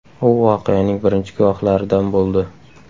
U voqeaning birinchi guvohlaridan bo‘ldi.